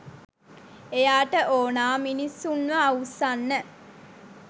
එයාට ඕනා මිනිස්සුන්ව අවුස්සන්න